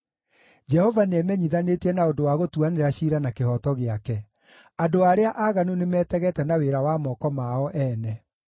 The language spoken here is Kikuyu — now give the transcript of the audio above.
Jehova nĩemenyithanĩtie na ũndũ wa gũtuanĩra ciira na kĩhooto gĩake; andũ arĩa aaganu nĩmetegete na wĩra wa moko mao ene.